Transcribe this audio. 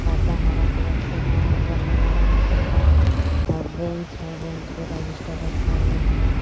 पर्दा हरा कलर से हे वो लगावल हे पर्दा और बेंच हे बेंच पे रजिस्टर रखा हुआ हे.